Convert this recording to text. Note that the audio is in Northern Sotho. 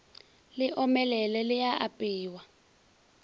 le omelele le a apewa